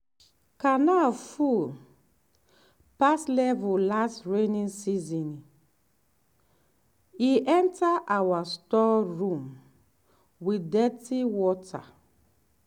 canal full pass level last rainy season e enter our store room with dirty water.